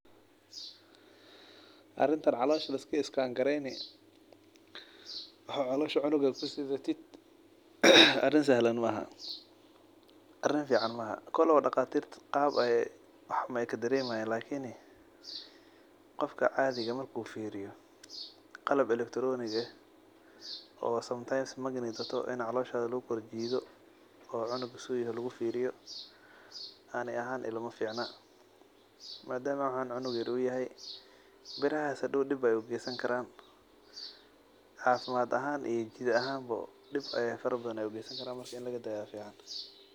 Arintan calosha liska iskan gareyni waxaa calosha cunuga kusidatid arin sahlan maaha arin fican maaha kolowa daqatirta qab ayey wax ube kadaremayan qofka cadhiga marku firiyo qalab electronic eh oo sometimes in ee magnet wadato aya caloshaada lagu qawani oo lagu korjido ona lagu firiyo ani ahan ilama ficna madama cunugan cunug yar u yahay birahas hadow dib ayey u kesan karan tas ani ahan dib fara badan ayey ukensan karan in laga dayo aya fican.